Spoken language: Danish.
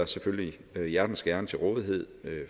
selvfølgelig hjertens gerne til rådighed